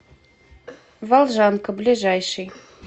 волжанка ближайший